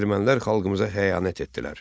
Ermənilər xalqımıza xəyanət etdilər.